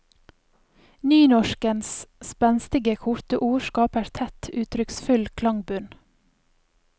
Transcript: Nynorskens spenstige, korte ord skaper tett, uttrykksfull klangbunn.